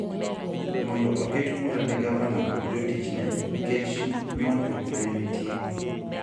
mondo oket bura ne gavana kod jotichne nikech nywandruok ma ne nitie.